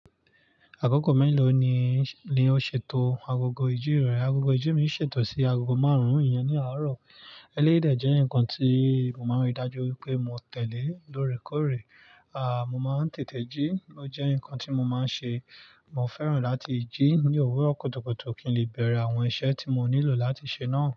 Akoko mélòó ni o ṣètò agogo ijí rẹ? Agogo ijí mi ṣètò sí agogo márùn-ún ìyẹn ní àárọ̀. Eléyi de jẹ́ nǹkan tí mo máa ń rí dájú wípé mo tẹ̀lé lóòrèkóòrè. Mo máa ń tètè jí, ó jẹ́ nǹkan tí mo máa ń ṣe. Mo fẹ́ràn láti jí ní òwúrọ̀ kutukutu kí n lè bẹ̀rẹ̀ àwọn iṣẹ́ tí mo nílò láti ṣe náà.